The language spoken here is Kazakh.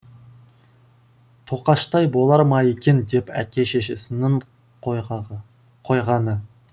тоқаштай болар ма екен деп әке шешесінің қойғаны